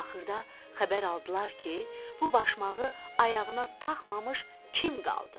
Axırda xəbər aldılar ki, bu başmağı ayağına taxmamış kim qaldı?